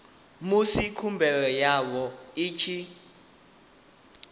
musi khumbelo yavho i tshi